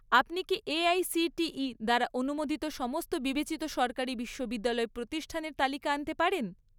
আপনি কি এআইসিটিই দ্বারা অনুমোদিত সমস্ত বিবেচিত সরকারি বিশ্ববিদ্যালয় প্রতিষ্ঠানের তালিকা আনতে পারেন?